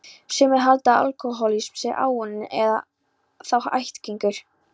Sumir halda að alkohólismi sé áunninn, eða þá ættgengur.